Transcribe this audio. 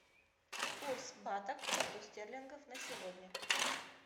курс бата к фунту стерлингов на сегодня